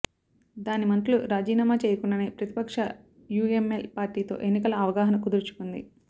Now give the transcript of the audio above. దాని మంత్రులు రాజీనామా చేయకుండానే ప్రతిపక్ష యుఎంఎల్ పార్టీతో ఎన్నికల అవగాహన కుదుర్చుకుంది